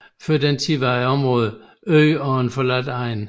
Før denne tid var området en øde og forladt egn